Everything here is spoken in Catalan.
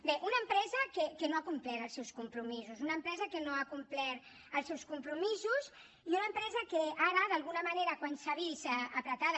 bé una empresa que no ha complert els seus compromisos una empresa que no ha complert els seus compromisos i una empresa que ara d’alguna manera quan s’ha vist pressionada